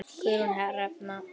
Guðrún Hrefna.